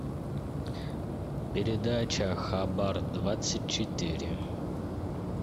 передача хабар двадцать четыре